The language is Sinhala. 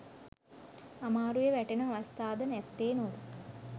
අමාරුවේ වැටෙන අවස්ථා ද නැත්තේ නොවේ.